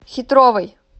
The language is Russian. хитровой